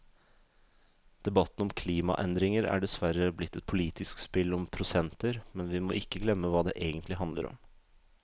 Debatten om klimaendringer er dessverre blitt et politisk spill om prosenter, men vi må ikke glemme hva det egentlig handler om.